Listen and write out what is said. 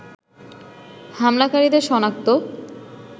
হামলাকারীদের সনাক্ত